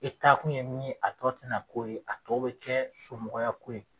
E taa kun ye min ye a tɔ tɛ na kɛ o ye a tɔ bɛ kɛ somɔgɔya ko ye.